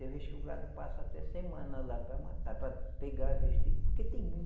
Tem vez que o gado passa até semana lá para matar, para pegar a vez dele, porque tem mui